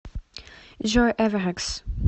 джой эверекс